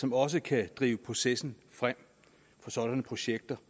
som også kan drive processen for sådanne projekter